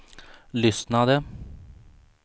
lyssnade